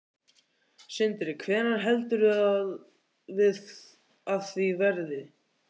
Sindri: Hvenær heldurðu að af því verði?